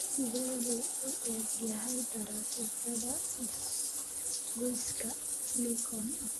sidee buu u eg yahay taraafikada isgoyska likon